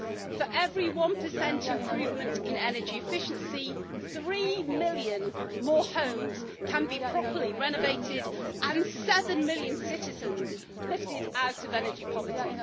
For every 1 improvement in energy efficiency, three million more homes can be properly renovated and seven million citizens lifted out of energy poverty.